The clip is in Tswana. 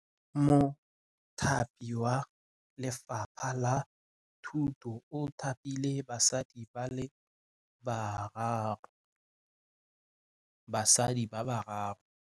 Mothapi wa Lefapha la Thutô o thapile basadi ba ba raro.